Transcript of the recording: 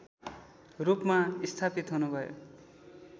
रूपमा स्थापित हुनुभयो